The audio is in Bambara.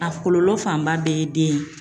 A kɔlɔlɔ fanba bɛɛ ye den ye